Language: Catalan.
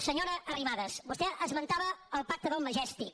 senyora arrimadas vostè esmentava el pacte del majestic